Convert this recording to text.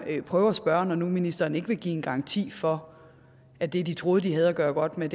vil jeg prøve at spørge når nu ministeren ikke vil give en garanti for at det de troede de havde at gøre godt med